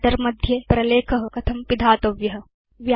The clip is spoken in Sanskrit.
व्रिटर मध्ये प्रलेख कथं पिधातव्य